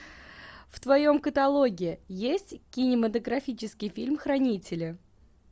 в твоем каталоге есть кинематографический фильм хранители